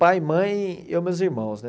Pai, mãe e eu, meus irmãos, né?